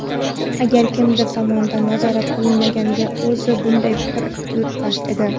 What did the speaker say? Agar kimdir tomonidan nazorat qilinmaganida o‘zi bunday fikr yuritmas edi.